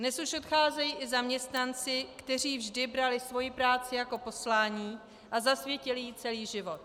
Dnes už odcházejí i zaměstnanci, kteří vždy brali svoji práci jako poslání a zasvětili jí celý život.